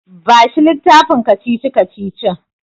Bashi littafin kacici-kacicicin.